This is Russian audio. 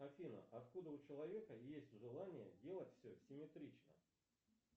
афина откуда у человека есть желание делать все симметрично